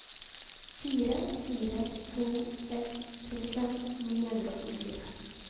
fire fire to seks trettifem ni hundre og åttifire